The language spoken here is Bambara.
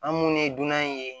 An minnu ye dunan ye